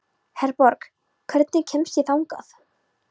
Herborg, hvernig kemst ég þangað?